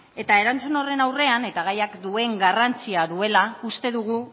eta erantzun horren aurrean eta gaiak duen garrantzia duela uste dugu